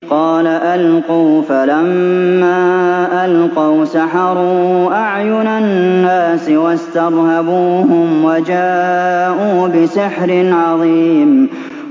قَالَ أَلْقُوا ۖ فَلَمَّا أَلْقَوْا سَحَرُوا أَعْيُنَ النَّاسِ وَاسْتَرْهَبُوهُمْ وَجَاءُوا بِسِحْرٍ عَظِيمٍ